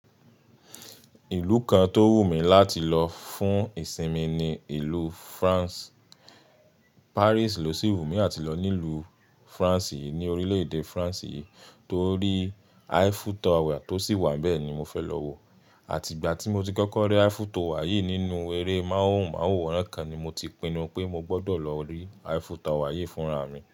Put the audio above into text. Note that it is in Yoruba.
Ìlú kan tó wù mí láti lọ fún ìsinmi ni ìlú France. Paris ló sì wù mí àti lọ nílùú France yìí ní orílẹ̀-èdè France yìí, torí Eiffel Tower tó sì wà n bẹ́ẹ̀ ni mo fẹ́ lọ wọ̀. Àti ìgbà tí mo ti kọ́kọ́ rí Eiffel Tower yìí nínú eré móhùnmáwòrán kan ni mo ti pinnu pé mo gbọ́dọ̀ lọ rí Eiffel Tower yìí fúnra mi.